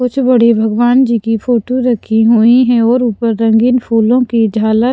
कुछ बड़े भगवान जी की फोटो रखी हुई है और ऊपर रंगीन फूलों की झालार--